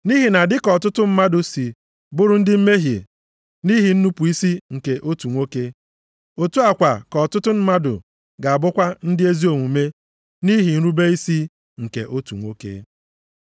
Nʼihi na dịka ọtụtụ mmadụ si bụrụ ndị mmehie nʼihi nnupu isi nke otu nwoke, otu a kwa ka ọtụtụ mmadụ ga-abụkwa ndị ezi omume nʼihi nrube isi nke otu nwoke.